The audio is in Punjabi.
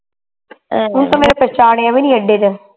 ਉਹਨੂੰ ਤੇ ਮੇਰੀ ਪਹਿਚਾਣੀਆਂ ਵੀ ਨੀ ਤੇ